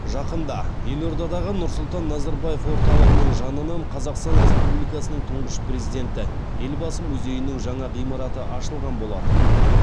жақында елордадағы нұрсұлтан назарбаев орталығының жанынын қазақстан респуубликасының тұңғыш президенті елбасы музейінің жаңа ғимараты ашылған болатын